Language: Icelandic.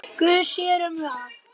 Guð sér um það.